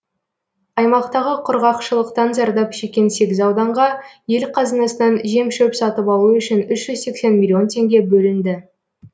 аймақтағы құрғақшылықтан зардап шеккен сегіз ауданға ел қазынасынан жем шөп сатып алу үшін үш жүз сексен миллион теңге бөлінді